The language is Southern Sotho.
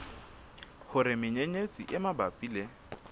hore menyenyetsi e mabapi le